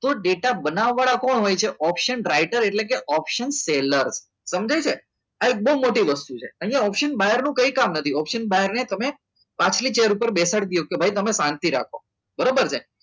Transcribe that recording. તો ટેટા બનાવવા વાળા પણ હોય છે option રાઇટર એટલે option ટ્રેલર સમજાય છે આ બહુ મોટી વસ્તુ છે અહીંયા option buyer નું કંઈ કામ નથી ચેર ઉપર બેસાડી દો કે ભાઈ તમે શાંતિ રાખો બરાબર છે